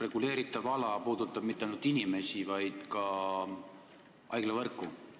Reguleeritav ala ei puuduta mitte ainult inimesi, vaid ka haiglavõrku.